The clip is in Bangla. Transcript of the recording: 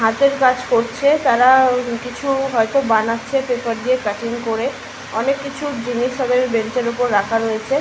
হাতের কাজ করছে তারা উম কিছু হয়তো বানাচ্ছে পেপার দিয়ে প্যাকিঙ করে। অনেক কিছু জিনিস তাদের বেঞ্চের ওপর রাখা রয়েছে।